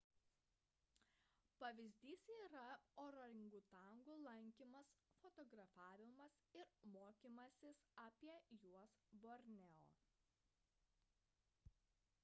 pavyzdys yra orangutanų lankymas fotografavimas ir mokymasis apie juos borneo